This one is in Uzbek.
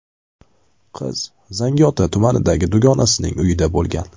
Qiz Zangiota tumanidagi dugonasining uyida bo‘lgan.